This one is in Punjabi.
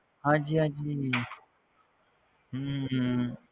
ਹਾਂਜੀ ਹਾਂਜੀ ਹਮ